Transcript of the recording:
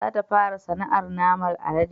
Za ta fara sana'ar naman alade